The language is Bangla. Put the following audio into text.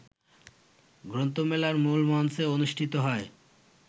গ্রন্থমেলার মূলমঞ্চে অনুষ্ঠিত হয়